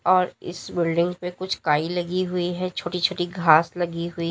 और इस बिल्डिंग पे कुछ काई लगी हुई है छोटी छोटी घास लगी हुई--